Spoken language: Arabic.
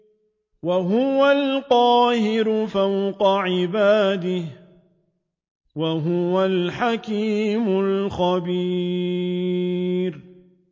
وَهُوَ الْقَاهِرُ فَوْقَ عِبَادِهِ ۚ وَهُوَ الْحَكِيمُ الْخَبِيرُ